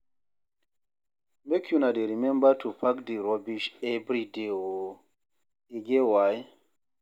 Make una dey rememba to pack di rubbish everyday o, e get why.